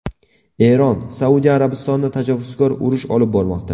Eron: Saudiya Arabistoni tajovuzkor urush olib bormoqda.